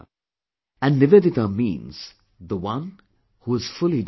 And Nivedita means the one who is fully dedicated